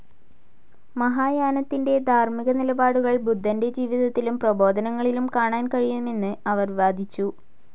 മഹായാനത്തിന്റെ ധാർമ്മിക നിലപാടുകൾ ബുദ്ധന്റെ ജീവിതത്തിലും പ്രബോധനങ്ങളിലും കാണാൻ കഴിയുമെന്ന് അവർ വാദിച്ചു.